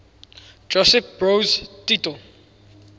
josip broz tito